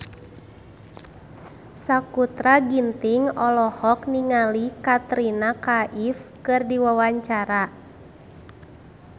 Sakutra Ginting olohok ningali Katrina Kaif keur diwawancara